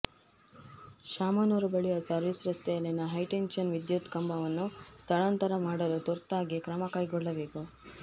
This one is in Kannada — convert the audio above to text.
ಶಾಮನೂರು ಬಳಿಯ ಸರ್ವೀಸ್ ರಸ್ತೆಯಲ್ಲಿನ ಹೈಟೆನ್ಷನ್ ವಿದ್ಯುತ್ ಕಂಬವನ್ನು ಸ್ಥಳಾಂತರ ಮಾಡಲು ತುರ್ತಾಗಿ ಕ್ರಮ ಕೈಗೊಳ್ಳಬೇಕು